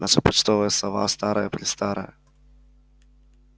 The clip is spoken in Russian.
наша почтовая сова старая-престарая